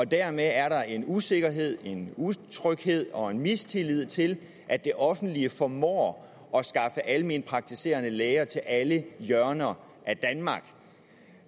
dermed er der en usikkerhed utryghed og en mistillid til at det offentlige formår at skaffe alment praktiserende læger til alle hjørner af danmark